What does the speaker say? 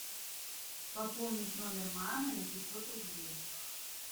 пополнить номер мамы на пятьсот рублей